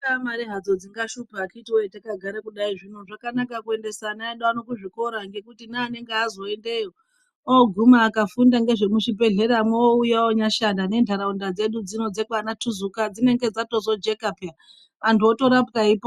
Dzingaa mari hadzo dzingashupa vakiti wee ,zvakanaka kuendeaa ana edu kuzvikora ngekuti neanemge azwa oendeyo ,oguma akafunda ngezvemuzbibhehleramo ouya onyashanda ,nendaraunda dzedu dzekwanatuzuka dzinenge dzazotojeka pya .Antu otorapwa eipona.